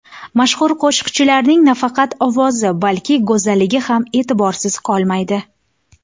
Mashhur qo‘shiqchining nafaqat ovozi, balki go‘zalligi ham e’tiborsiz qolmaydi.